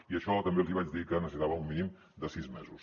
i això també els hi vaig dir que necessitàvem un mínim de sis mesos